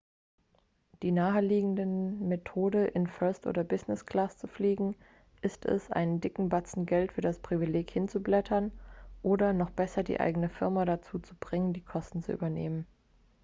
die naheliegende methode in first oder business-class zu fliegen ist es einen dicken batzen geld für das privileg hinzublättern oder noch besser die eigene firma dazu zu bringen die kosten zu übernehmen